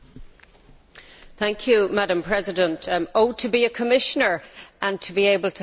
Madam President, oh to be a Commissioner and be able to have so much time to speak!